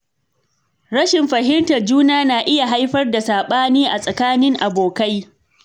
Rashin fahimtar juna na iya haifar da saɓani tsakanin abokai.